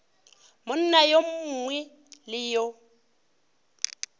monna yo mongwe le yo